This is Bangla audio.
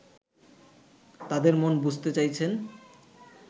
তাদের মন বুঝতে চাইছেন